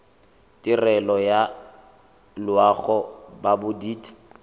tirelo ya loago ya bodit